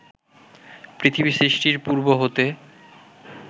পৃথিবী সৃষ্টির পূর্ব হতে